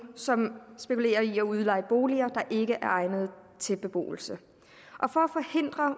som spekulerer i at udleje boliger der ikke er egnet til beboelse for